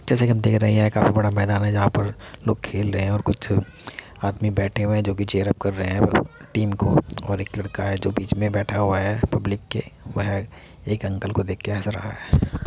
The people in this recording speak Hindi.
जैसा कि हम देख रहे है ये काफी बड़ा मैदान है जहा पर लोग खेल रहे है और कुछ आदमी बैठे है जो कि चीयर अप कर रहे है टीम को ओर एक लड़का है जो बीच मे बैठा हुआ है पब्लिक के वह एक अंकल को देखके हस रहा है।